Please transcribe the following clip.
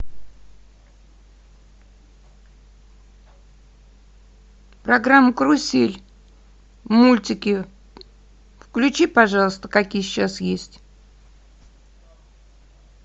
программа карусель мультики включи пожалуйста какие сейчас есть